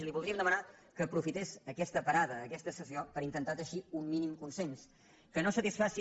i li voldríem demanar que aprofités aquesta parada aquesta sessió per intentar teixir un mínim consens que no satisfaci